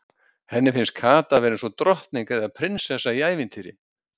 Henni fannst Kata vera eins og drottning eða prinsessa í ævintýri.